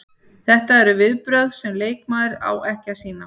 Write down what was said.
Þetta eru viðbrögð sem leikmaður á ekki að sýna.